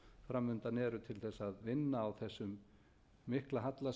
fram undan eru til þess að vinna á þessum mikla halla sem